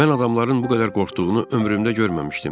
Mən adamların bu qədər qorxduğunu ömrümdə görməmişdim.